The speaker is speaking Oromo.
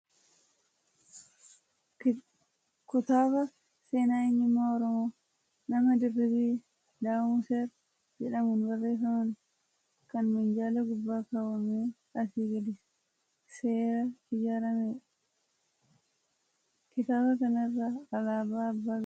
Kutaaba seenaa eenyummaa Oromoo nama Dirribii D'amuser jedhamuun barreeffamn, ka minjaala gubbaa kaawwamee asii gadi seera ijaaramedha. Kitaaba kana irra alaabaa abbaa gadaa kan Halluun gurraacha, diimaa fi adiitu jira.